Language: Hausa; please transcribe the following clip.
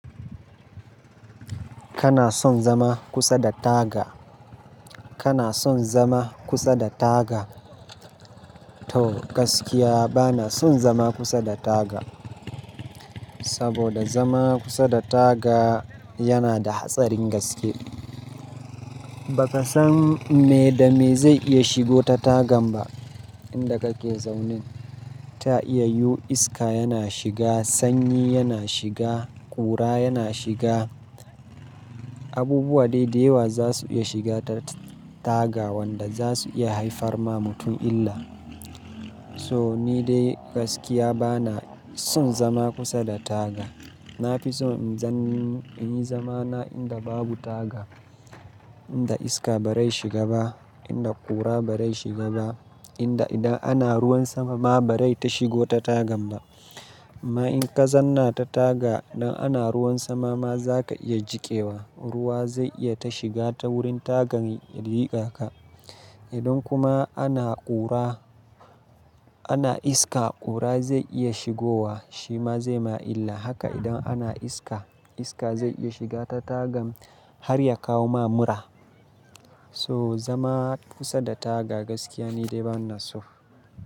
Kana son zama kusa da taga? Kana son zama kusa da taga? To gaskiya bana son zama kusa da taga. Saboda zama kusa da taga yana da hatsarin gaske. Baka san me da me zai iya shigo ta tagan ba inda kake zaune. Ta iya yu iska yana shiga, sanyi yana shiga, ƙura yana shiga. Abubuwa dai da yawa za su iya shiga ta taga wanda za su iya haifarwa mutum illa. So ni dai gaskiya bana son zama kusa da taga. Na fi so in zanni, in yi zama na inda babu taga. In da iska ba rai shiga ba, inda ƙura ba rai shiga ba, inda idan ana ruwan sama ma ba rai ta shigo ta tagan ba. Amma in ka zanna ta taga, idan ana ruwan sama ma zaka iya jiƙewa. Ruwa zai iya ta shiga ta wurin tagan ya jiƙa ka. Idan kuma ana ƙura, ana iska, ƙura zai iya shigowa shima zai ma illa. Haka idan ana iska, iska zai iya shiga ta tagan har ya kawo ma mura. So zama kusa da taga gaskiya ni dai bana so.